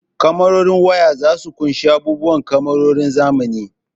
Kamarorin waya zasu ƙunshi abubuwa kamarorin zamani.